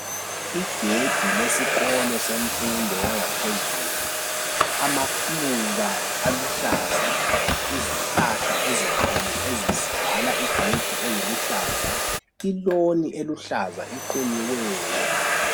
Igedi lesikolo semfundo yangaphezulu amaluba aluhlaza izihlahla ezinkulu ezivala igedi leziluhlaza iloni eluhlaza equnyiweyo.